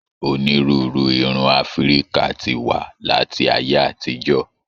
Onírúurú irun Áfíríkà ti wa láti ayé àtijọ.